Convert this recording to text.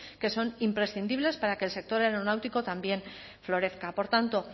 que son imprescindibles para que el sector aeronáutico también florezca por tanto